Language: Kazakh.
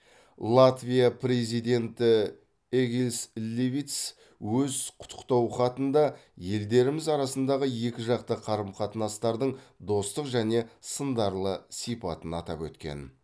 латвия президенті эгилс левитс өз құттықтау хатында елдеріміз арасындағы екіжақты қарым қатынастардың достық және сындарлы сипатын атап өткен